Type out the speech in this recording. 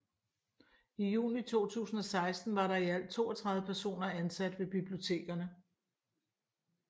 I juni 2016 var der i alt 32 personer ansat ved bibliotekerne